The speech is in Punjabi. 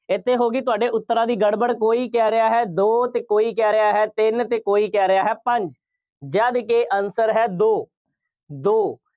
ਇੱਥੇ ਹੋ ਗਈ ਤੁਹਾਡੇ ਉੱਤਰਾਂ ਦੀ ਗੜਬੜ, ਕੋਈ ਕਹਿ ਰਿਹਾ ਹੈ, ਦੋ ਅਤੇ ਕੋਈ ਕਹਿ ਰਿਹਾ ਹੈ, ਤਿੰਨ ਅਤੇ ਕੋਈ ਕਹਿ ਰਿਹਾ ਹੈ, ਪੰਜ, ਜਦਕਿ answer ਹੈ, ਦੋ, ਦੋ।